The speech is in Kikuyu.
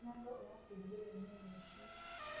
Mũrango ũrabũjĩrwo mĩ mũĩcĩĩ.